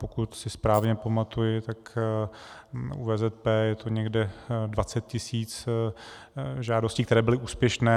Pokud si správně pamatuji, tak u VZP je to někde 20 tisíc žádostí, které byly úspěšné.